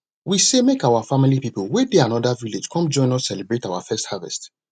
we say make our family people wey dey anoda village come join us celebrate our first harvest